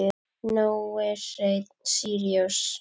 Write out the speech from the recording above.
Nói Hreinn Síríus.